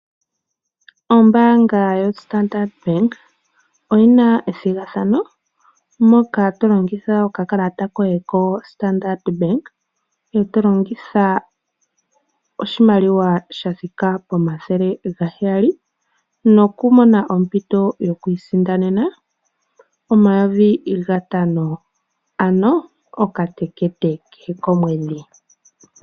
Ombaanga yoStandard Bank oyina ethigathano moka tolongitha okakalata koye koStandard Bank ngoye tolongitha oshimaliwa shthika N$700, nokumona ompito yokuiisindanena N$5000 ano okatekete kehe komwedhi.